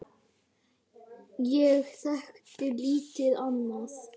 Ég þekkti lítið annað.